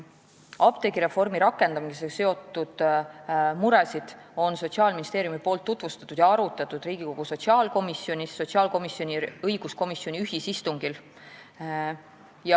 Apteegireformi rakendamisega seotud muresid on Sotsiaalministeerium tutvustanud, neid on arutatud Riigikogu sotsiaalkomisjonis ning ka sotsiaalkomisjoni ja õiguskomisjoni ühisistungil.